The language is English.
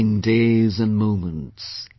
Counting days and moments